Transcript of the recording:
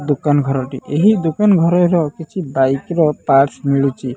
ଦୋକାନ ଘରଟି ଏହି ଦୋକାନ ଘରର କିଛି ବାଇକ ର ପାର୍ଟସ୍ ମିଳୁଛି।